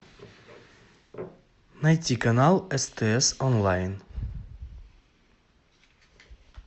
найти канал стс онлайн